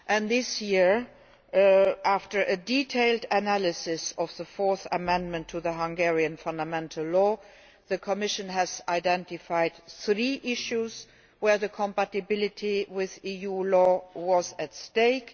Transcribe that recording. This year, after a detailed analysis of the fourth amendment to the Fundamental Law of Hungary, the Commission has identified three issues where the compatibility with EU law was at stake.